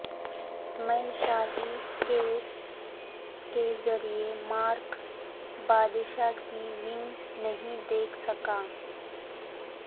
میں شاہی کیس کے ذریعے مارک بادشاہ کی ونگ نہیں دیکھ سکا